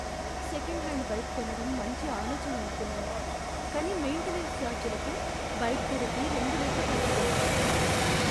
Second hand bike కొనడం మంచి ఆలోచన అనుకున్నాను, కానీ మెయింటెనెన్స్ ఛార్జీలకు బైక్ ధరకి రెండు రెట్లు ఖర్చు పెట్టాను.